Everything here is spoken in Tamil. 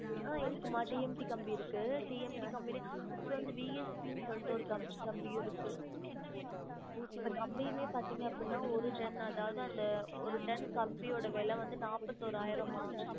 ஆஹ் இருக்குமா T M T கம்பி இருக்கு T M T கம்பிளையும் அதுக்கு அப்ரோ V S P சொல்லிட்டு ஒரு கம்~ கம்பி இருக்கு இப்ப கம்பியுமே பாத்திங்க அப்படினா ஒரு ton அதாவது அந்த ஒரு ton கம்பியோட விலை வந்து நாப்பத்தொராயிரம்மா